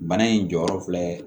Bana in jɔyɔrɔ filɛ